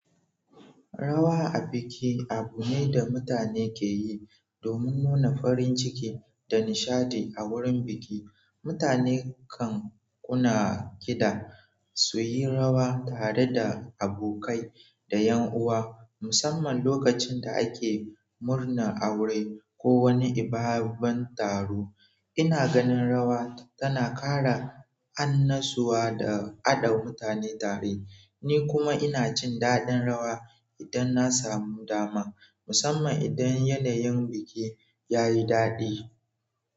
Rawa a biki abu ne da mutane ke yi domin nuna farin ciki da nishaɗi a wurin biki. Mutane kan kunna kida su yi rawa tare da abokai da ƴan uwa, musamman lokacin da ake murnar aure ko wani babban taro. Ina ganin rawa tana ƙara annashuwa da haɗa mutane tare, ni kuma ina jin daɗin rawa idan na samu dama, musamman idan yanayin biki ya yi daɗi.